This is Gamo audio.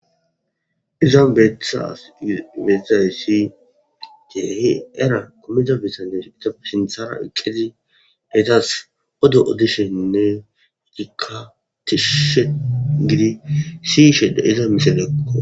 iza beetsaysii deehi era komida bisane izafe sinthara eqqezi etas odo oddisheninne gikatishshe gidi sishede iza miselekko